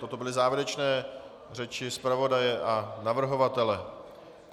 Toto byly závěrečné řeči zpravodaje a navrhovatele.